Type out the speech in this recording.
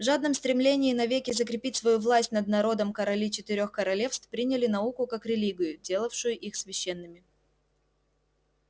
в жадном стремлении навеки закрепить свою власть над народом короли четырёх королевств приняли науку как религию делавшую их священными